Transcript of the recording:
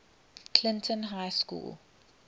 clinton high school